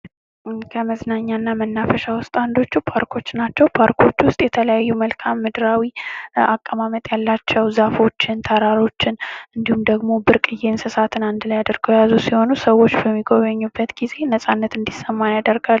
ከመዝናኛና መናፈሻ ውስጥ አንዶቹ ፓርኮች ናቸው። ፓርኮች ውስጥ የተለያዩ መልክአ ምድራዊ አቀማመጥ ያላቸው ዛፎችን ፣ተራሮችን እንድሁም ደግሞ ብርቅየ እንስሳትን አንድ ላይ አድርጎ የያዘ ሲሆኑ ሰዎች በሚጎበኙበት ጊዜ ነጻነት እንዲሰማ ያደርጋል።